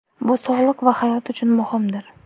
Bu sog‘liq va hayot uchun muhimdir!